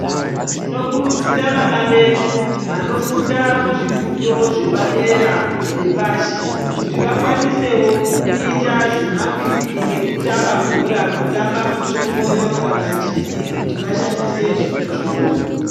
Tinokurudzira vana vedu vanofunda kuzvifundo zvepadera nepashi kuti vakwanisewo kuita zvemakwikwi ekutamba bhora kutamba muchongoyo kana chii kuti vashandise zvipo zvawo.